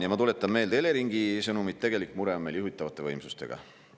Ja ma tuletan meelde Eleringi sõnumit – tegelik mure on meil juhitavate võimsustega.